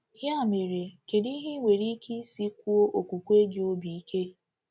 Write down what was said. Ya mere, kedu ihe ị nwere ike isi kwụọ okwukwe gị obi ike?